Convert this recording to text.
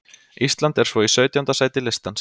Ísland er svo í sautjánda sæti listans.